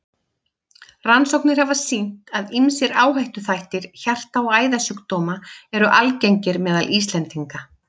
Rannsóknir hafa sýnt, að ýmsir áhættuþættir hjarta- og æðasjúkdóma eru algengir meðal Íslendinga.